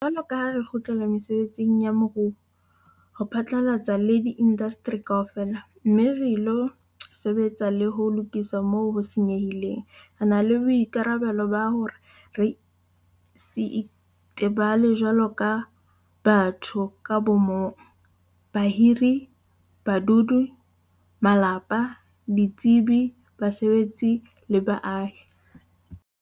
Jwalo ka ha re kgutlela mesebetsing ya moruo ho phatlalla le diindasteri kaofela, mme re ilo sebetsa le ho lokisa moo ho senyehileng, re na le boikarabelo ba hore re se itebale jwaloka batho ka bo mong, bahiri, badudi, malapa, ditsebi, basebetsi le baahi.